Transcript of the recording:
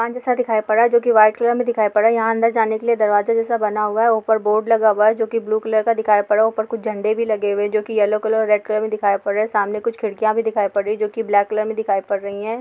मंच जैसा दिखाई पड़ रहा है जोकि व्हाइट कलर में दिखाई पड़ रहा हैं यहाँ अंदर जाने के लिए दरवाजे जैसा बना हुआ हैं ऊपर बोर्ड लगा हुआ हैं जोकि ब्लू कलर का दिखाई पड़ रहा हैं ऊपर कुछ झंडे भी लगे हुए है जोकि येलो कलर और रेड कलर में दिखाई पड़ रहे हैं सामने कुछ खिड़किया भी दिखाई पड़ रही है जोकि ब्लैक कलर में दिखाई पड़ रही हैं।